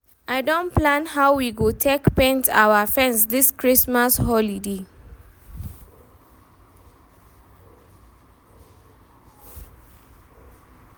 I don plan how we go take paint our fence this Christmas holiday